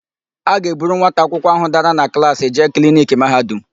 A ga-eburu nwata akwụkwọ áhụ̀ dara na klaasị jee kliniki Mahadum.